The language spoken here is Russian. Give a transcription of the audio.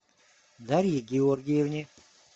дарье георгиевне